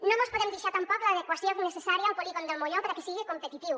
no mos podem deixar tampoc l’adequació necessària al polígon del molló perquè siga competitiu